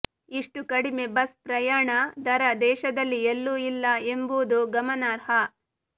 ಇಷ್ಟುಕಡಿಮೆ bus ಪ್ರಯಾಣ ದರ ದೇಶದಲ್ಲಿ ಎಲ್ಲೂ ಇಲ್ಲ ಎಂಬುದು ಗಮನಾರ್ಹ